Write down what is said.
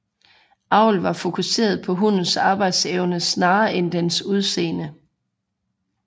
Avl var fokuseret på hundens arbejdsevne snarere end dens udseende